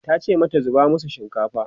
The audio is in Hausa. tace mata 'zuba masu shinkafa!"